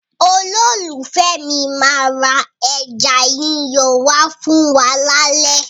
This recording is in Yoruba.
Olólùfẹ́ mi máa ra ẹja yíyan wá fún wa lálẹ́.